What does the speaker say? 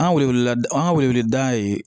An ka wele wele da an ka weleda ye